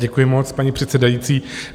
Děkuji moc, paní předsedající.